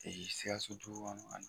Sikaso dugu kɔnɔ